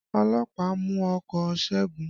Ọlọ́pàá mú ọkọ̀ Ṣégun